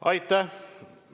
Aitäh!